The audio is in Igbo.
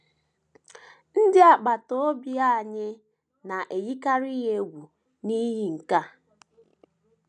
Ndị agbata obi anyị na - eyikarị ya egwu n’ihi nke a.